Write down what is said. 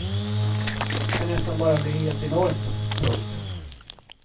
Kan nästan bara bli helt enormt. punkt